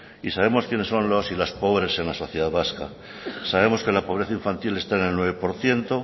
y sabemos quiénes son los y las pobres en la sociedad vasca sabemos que la pobreza infantil está en el nueve por ciento